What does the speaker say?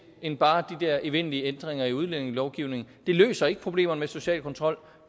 end bare de der evindelige ændringer i udlændingelovgivningen det løser ikke problemerne med social kontrol